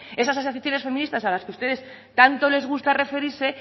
esas asociaciones feministas a las que ustedes tanto les gusta referirse